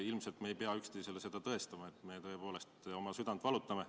Ilmselt me ei pea üksteisele seda tõestama, et me tõepoolest oma südant valutame.